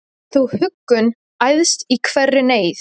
Þú huggun æðst í hverri neyð,